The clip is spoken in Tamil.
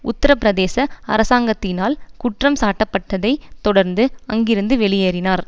உத்தர பிரதேச அரசாங்கத்தினால் குற்றம் சாட்டப்பட்டதைத் தொடர்ந்து அங்கிருந்து வெளியேறினார்